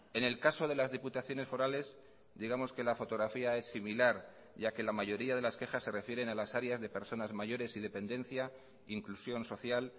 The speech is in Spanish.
en el caso de las diputaciones forales digamos que la fotografía es similar ya que la mayoría de las quejas se refieren a las áreas de personas mayores y dependencia inclusión social